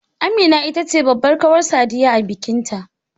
Amina ita ce babbar kawar Sadiya a bikin ta